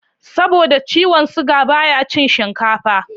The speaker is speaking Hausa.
Saboda ciwon siga baya cin shinkafa